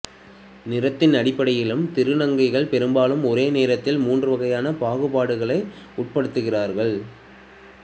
நிறத்தின் அடிப்படையிலும் திருநங்கைகள் பெரும்பாலும் ஒரே நேரத்தில் மூன்று வகையான பாகுபாடுகளுக்கு உட்படுத்தப்படுகிறார்கள்